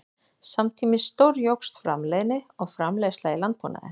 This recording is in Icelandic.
Samtímis stórjókst framleiðni og framleiðsla í landbúnaði.